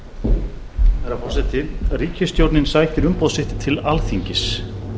herra forseti ríkisstjórnin sækir umboð sitt til alþingis